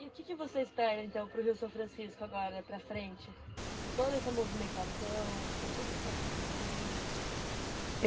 E o que você espera então para o Rio São Francisco agora, para frente, com toda essa movimentação, com tudo que está acontecendo?